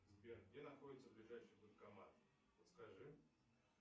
сбер где находится ближайший банкомат подскажи